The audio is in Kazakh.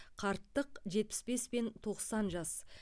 қарттық жетпіс бес пен тоқсан жас